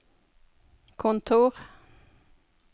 kontor